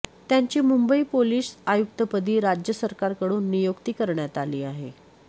त्यांची मुंबई पोलीस आयुक्तपदी राज्य सरकारकडून नियुक्ती करण्यात आली आहे